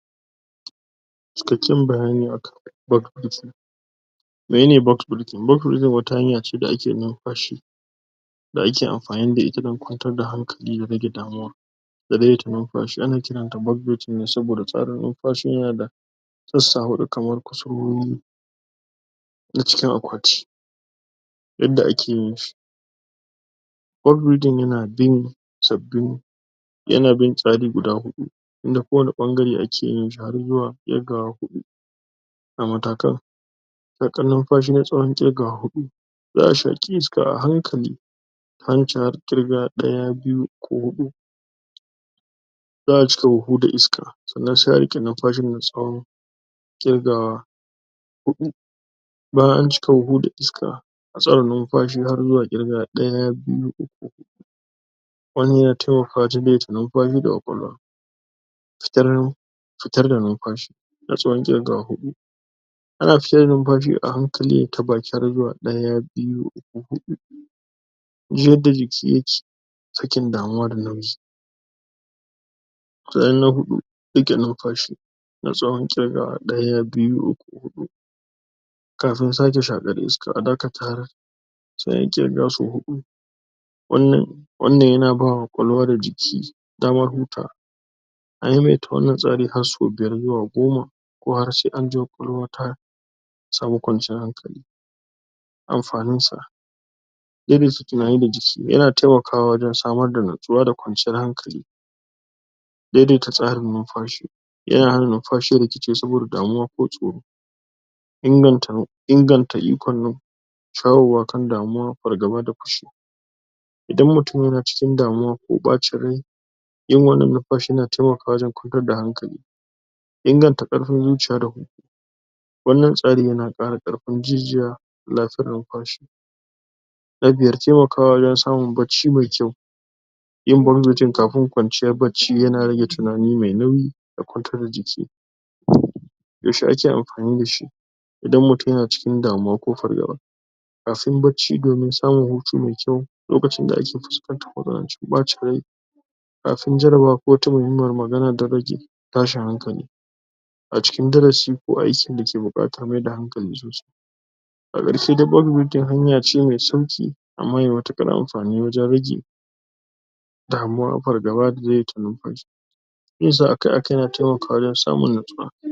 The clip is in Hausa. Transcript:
cikakken bayani akan menene wata hanya ce da ake numfashi da ake amfani da ita dan kwantar da hankali da rage damuwa da daidai ta numfashi ana kiranta ne saboda tsarin numfashin yana da sassa huɗu kamar kusurwowi na cikin akwati yadda ake yin shi yana bin sabbin yana bin tsari guda huɗu inda kowane ɓangare ake yin shi har zuwa ƙirgawa huɗu shaƙan numfashi na tsawon ƙirgawa huɗu za a shaƙi iska a hankali ta hanci har ƙirga ɗaya biyu uku huɗu za a cika huhu da iska sannan se a riƙe numfashin na tsawon ƙirgawa huɗu bayan an cika huhu da iska na tsawan numfashi har zuwa ƙirgawa ɗaya biyu uku wannan yana temakawa jini ya numfashi ga ƙwaƙwalwa fitar da numfashi na tsawon ƙirgawa huɗu ana fitar da numfashi a hankali ne ta baki har zuwa ɗaya biyu uku huɗu ji yadda jiki yake sakin damuwa da nauyi na huɗu riƙe numfashi na tsawon ƙirgawa ɗaya biyu uku huɗu kafin sake shaƙar iska a dakata har se anyi ƙirga so huɗu wannan wannan yana ba wa ƙwaƙwalwa da jiki damar hutawa a maimaita wannan tsari har sau biyar zuwa goma ko har se an ji ƙwaƙwalwa ya samu kwanciyar hankali amfaninsa irin su tunani da yana temakawa wajen samar da natsuwa da kwanciyar hankali daidaita tsarin numfashi yana hana numfashi ya rikice saboda damuwa ko tsoro inganta ikon numfashi tsarewa kan damuwa, fargaba da idan mutum yana cikin damuwa ko ɓacin rai yin wannan numfashi na temakawa wajen kwantar da hankali inganta ƙarfin zuciya da wannan tsarin yana ƙara ƙarfin jijiya numfashi na biyar temakawa wajen samun barci me kyau yin kafin kwanciya barci yana rage tunani me nauyi da kwantar da jiki yaushe ake amfani da shi? idan mutum na cikin damuwa ko fargaba kafin barci domin samun hutu me kyau lokacin da ake fuskantar matsanancin ɓacin rai kafin jarabawa ko wata dan rage tashin hankali a cikin darasi ko aiki da ke buƙatar maida hankalin zuciya a ƙarshe dai hanya ce me sauƙi amma me matuƙar amfani wajen rage damuwa, fargaba da daidaita numfashi yin sa akai-akai yana temakawa wajen samun natsuwa